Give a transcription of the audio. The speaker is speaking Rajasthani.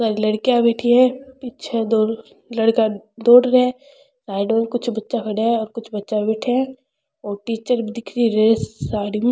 यह लड़कियां बैठी है पीछे दो लड़कियां दौड़ रहे है साइड में कुछ बच्चा खड़ा है और कुछ बच्चा बैठिया है और टीचर भी दिख री रेड साड़ी में।